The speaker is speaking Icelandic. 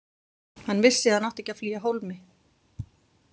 Hann vissi að hann átti ekki að flýja af hólmi.